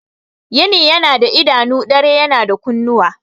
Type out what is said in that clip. Yini yana da idanu, dare yana da kunnuwa.